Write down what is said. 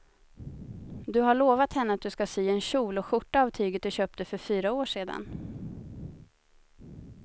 Du har lovat henne att du ska sy en kjol och skjorta av tyget du köpte för fyra år sedan.